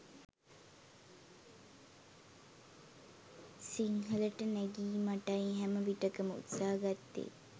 සිංහලට නැගීමටයි හැම විටකම උත්සහ ගත්තේ